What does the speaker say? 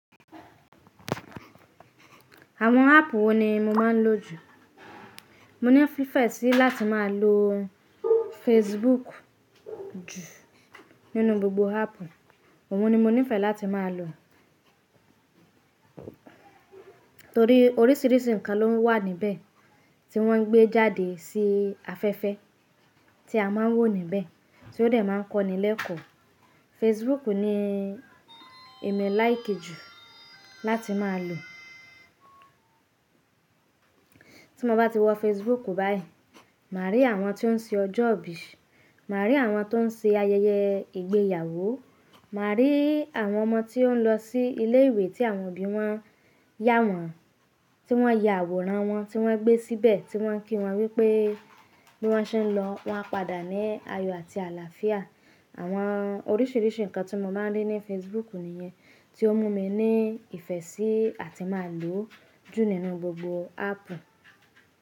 Àwọn ápù wo ni mo máa ń lò jù? Mo níìfẹ́ sí láti má a lo Facebook jù nínú gbogbo ápù. Òun ni mo nífẹ̀ẹ́ láti má a lò torí orísìírísìí ǹkan ló ń wà níbẹ̀ tí wọ́n ń gbé jáde sí afẹ́fẹ́ tí a máa ń wò níbẹ̀, tí ó dẹ̀ máa ń kọ́ni lẹ́kọ̀ọ́. Facebook ni èmi láìké jù láti má a lò. Tí mo bá ti wọ Facebook báyìí, mà á rí àwọn tí ó ń ṣe ọjọ́ ìbí, mà á rí àwọn tó ń ṣe ayẹyẹ ìgbéyàwó, mà á rí àwọn ọmọ tí ó ń lọ sí ilé ìwé tí àwọn òbí wọn yá wọn, tí wọ́n ya àwòrán wọn, tí wọ́n gbé síbẹ̀, tí wọ́n ń kí wọn wípé bí wọ́n ṣe ń lọ, wọ́n a padà ní ayọ àti àlàáfíà. Àwọn orísìírísìí ǹkan tí mo máa ń rí ní Facebook nìyẹn, tí ó mú mi ní ìfẹ́ sí àti má lò ó jù nínú gbogbo ápù.